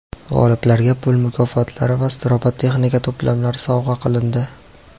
G‘oliblarga pul mukofotlari va robototexnika to‘plamlari sovg‘a qilindi.